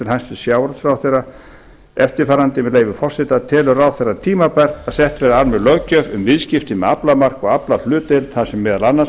hæstvirts sjávarútvegsráðherra eftirfarandi með leyfi forseta telur ráðherra tímabært að sett verði almenn löggjöf um viðskipti með aflamark og aflahlutdeild þar sem meðal annars